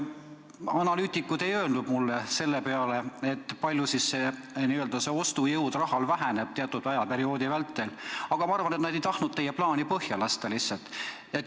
Analüütikud ei vastanud mulle, kui palju selle raha ostujõud teatud perioodi vältel väheneb, küllap nad lihtsalt ei tahtnud teie plaani põhja lasta.